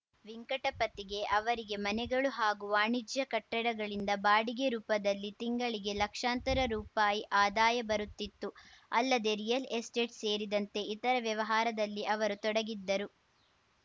ವೆಂಕಟಪತಿಗೆ ಅವರಿಗೆ ಮನೆಗಳು ಹಾಗೂ ವಾಣಿಜ್ಯ ಕಟ್ಟಡಗಳಿಂದ ಬಾಡಿಗೆ ರೂಪದಲ್ಲಿ ತಿಂಗಳಿಗೆ ಲಕ್ಷಾಂತರ ರುಪಾಯಿ ಆದಾಯ ಬರುತ್ತಿತು ಅಲ್ಲದೆ ರಿಯಲ್‌ ಎಸ್ಟೇಟ್‌ ಸೇರಿದಂತೆ ಇತರೆ ವ್ಯವಹಾರದಲ್ಲಿ ಅವರು ತೊಡಗಿದ್ದರು